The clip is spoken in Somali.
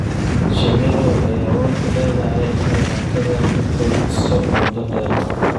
Shinnidu waxay awood u leedahay inay cuntada ku kaydiso muddo dheer.